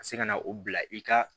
Ka se ka na o bila i ka